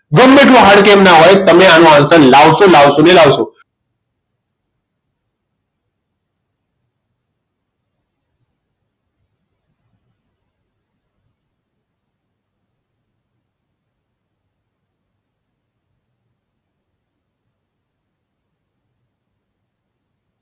ગમે તેટલું hard કેમ ના હોય તમે આનો answer લાવશો લાવશો ને લાવશો જ